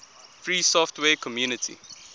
free software community